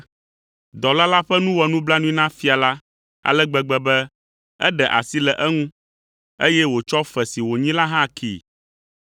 Dɔla la ƒe nu wɔ nublanui na fia la ale gbegbe be eɖe asi le eŋu, eye wòtsɔ fe si wònyi la hã kee.